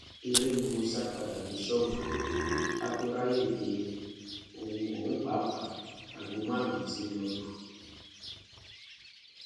eré ni mo sá padà dé ṣọọbù ká tóó ráàyè dé ohun pàápàá aago márùnún tí ń lọọ lù